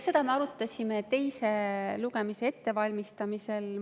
Seda me arutasime teise lugemise ettevalmistamisel.